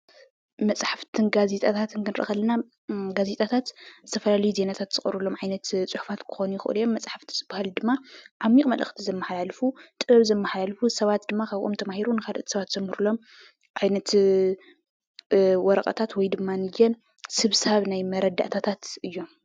መፅሓፍትን ጋዜጠኛታት ክንሪኢ ከለና ጋዜጣታት ዝተፈላለዩ ዜናታት ዝቐርቡሎም ዓይነት ፅሑፋት ክኾኑ ይኽእሉ እዮም፡፡ መፅሓፍቲ ዝባሃሉ ድማ ዓሚቕ መልእኽቲ ዘመሓላልፉ ጥበብ ዘመሓላልፉ ሰባት ድማ ካብኦም ተማሂሩ ንካልኦት ንኻልኦት ዘምህሩሎም ዓይነት ወረቐታት ወይድማ ስብሳብ ናይ መረዳእታታት እዮም፡፡